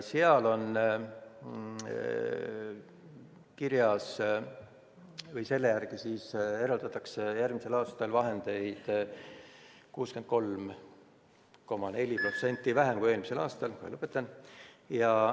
Seletuskirja järgi eraldatakse järgmiseks aastaks vahendeid 63,6% vähem kui 2020. aastaks.